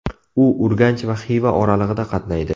U Urganch va Xiva oralig‘ida qatnaydi.